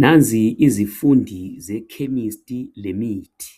Nanzi izifundi ze chemistry lemithi